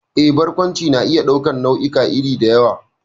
Eh, Barkwanci na iya ɗaukar nau'ikan iri da yawa,